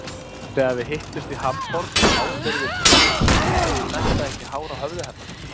Þegar við hittumst í Hamborg ábyrgðist Gizur að snerta ekki hár á höfði hennar.